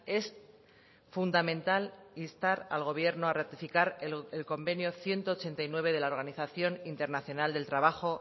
es fundamental instar al gobierno a rectificar el convenio ciento ochenta y nueve de la organización internacional del trabajo